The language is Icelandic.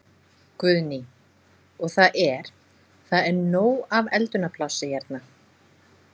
Guðný: Og það er, það er nóg af eldunarplássi hérna?